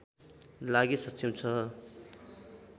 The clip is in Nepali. लागि सक्षम छ